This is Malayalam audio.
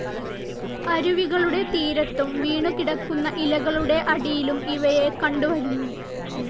അരുവികളുടെ തീരത്തും വീണുകിടക്കുന്ന ഇലകളുടെ അടിയിലും ഇവയെ കണ്ടുവരുന്നു.